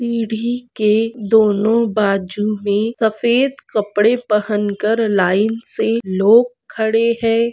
सीढी के दोन्हों बाजु मे सफ़ेद कडपे पहन कर लाइन से लोग खड़े है।